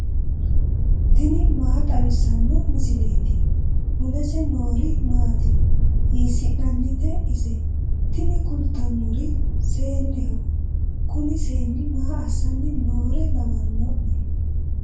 tini maa xawissanno misileeti ? mulese noori maati ? hiissinannite ise ? tini kultannori seenneho. kuni seenni maa assanni noore lawanno'ne?